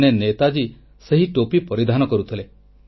ଦିନେ ନେତାଜୀ ସେହି ଟୋପି ପରିଧାନ କରୁଥିଲେ